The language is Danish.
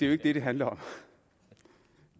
jo ikke det det handler om